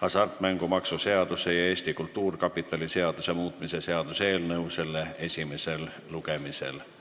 hasartmängumaksu seaduse ja Eesti Kultuurkapitali seaduse muutmise seaduse eelnõu selle esimesel lugemisel tagasi.